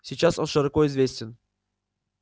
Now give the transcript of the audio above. сейчас он широко известен